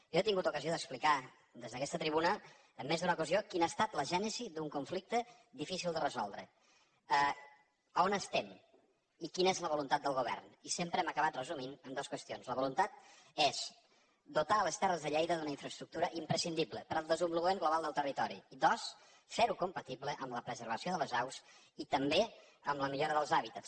jo he tingut ocasió d’explicar des d’aquesta tribuna en més d’una ocasió quina ha estat la gènesi d’un conflicte difícil de resoldre on estem i quina és la voluntat del govern i sempre ho hem acabat resumint en dos qüestions la voluntat és dotar les terres de lleida d’una infraestructura imprescindible per al desenvolupament global del territori i dos fer ho compatible amb la preservació de les aus i també amb la millora dels hàbitats